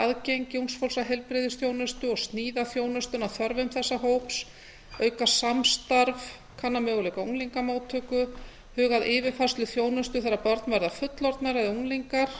aðgengi ungs fólks að heilbrigðisþjónustu og sníða þjónustuna að þörfum þessa hóps auka samstarf kanna möguleika á unglingamóttöku huga að yfirfærslu þjónustu þegar börn verða fullorðnir eða unglingar